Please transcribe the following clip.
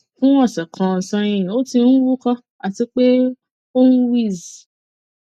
fun ọsẹ kan sẹhin o ti n uko ati pe oun wheeze